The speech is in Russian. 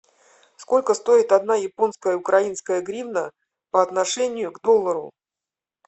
сколько стоит одна японская украинская гривна по отношению к доллару